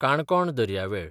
काणकोण दर्यावेळ